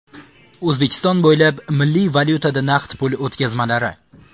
O‘zbekiston bo‘ylab milliy valyutada naqd pul o‘tkazmalari!.